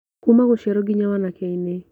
Kuuma gũciarwo ngĩnya wanake-inĩ